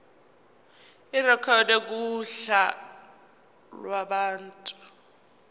irekhodwe kuhla lwabantu